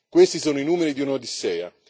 Questi sono i numeri di un'Odissea.